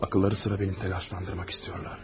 Ağılları sıra məni təlaşlandırmaq istəyirlər.